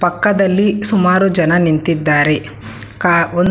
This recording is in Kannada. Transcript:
ಪಕ್ಕದಲ್ಲಿ ಸುಮಾರು ಜನ ನಿಂತಿದ್ದಾರೆ ಕಾ ಒಂ--